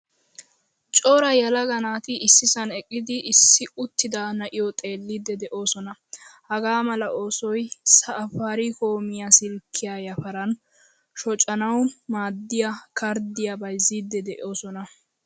Cora yelaga naati issisan eqqidi issi uttida na'iyo xeelidi deosona. Hagaamala oosoy safarikomiyaa silkiyaa yafaran shocanawu maadiyaa kardiya bayzzidi deosona.